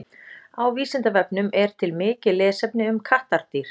Á Vísindavefnum er til mikið lesefni um kattardýr.